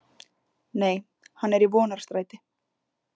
Nei, hann er í Vonarstræti.